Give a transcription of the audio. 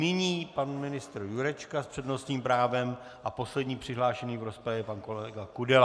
Nyní pan ministr Jurečka s přednostním právem a poslední přihlášený v rozpravě pan kolega Kudela.